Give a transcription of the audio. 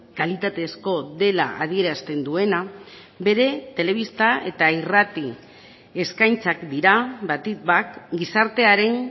kalitatezko dela adierazten duena bere telebista eta irrati eskaintzak dira batik bat gizartearen